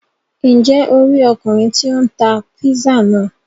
Njẹ o ri Ọkùnrin tí o n tá pizza náà?